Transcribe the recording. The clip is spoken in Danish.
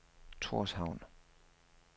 Torshavn